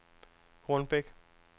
Hornbæk